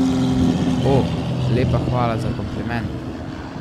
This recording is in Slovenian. O, lepa hvala za kompliment.